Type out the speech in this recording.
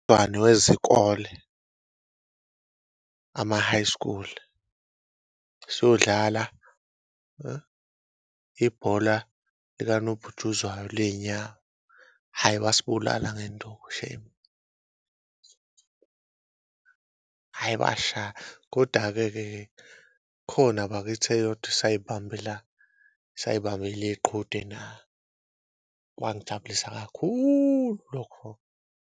Wezikole ama-high school siyodlala ibhola likanobhutshuzwayo ley'nyawo, hhayi bayibulala ngenduku shame, hhayi basishaya koda-keke khona bakithi eyodwa, esayibambela iqhude kwangijabulisa kakhulu lokho.